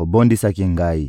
obondisaki ngai!